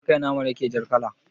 Ya akai naman yake jar kala